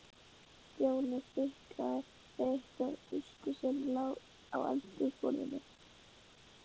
Stjáni fitlaði við einhverja tusku sem lá á eldhúsborðinu.